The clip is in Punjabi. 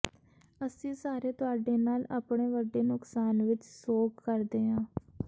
ਅਸੀਂ ਸਾਰੇ ਤੁਹਾਡੇ ਨਾਲ ਆਪਣੇ ਵੱਡੇ ਨੁਕਸਾਨ ਵਿਚ ਸੋਗ ਕਰਦੇ ਹਾਂ